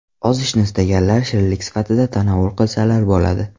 Ozishni istaganlar shirinlik sifatida tanovul qilsalar bo‘ladi.